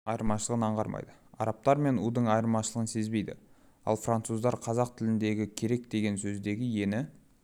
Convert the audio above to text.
айырмашылығын аңғармайды арабтар мен у-дың айырмашылығын сезбейді ал француздар қазақ тіліндегі керек деген сөздегі е-ні